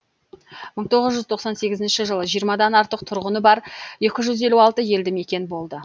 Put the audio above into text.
мың тоғыз жүз тоқсан сегізінші жылы жиырмадан артық тұрғыны бар екі жүз елу алты елді мекен болды